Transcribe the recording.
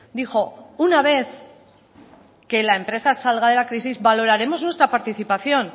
dijo una vez que la empresa salga de la crisis valoraremos nuestra participación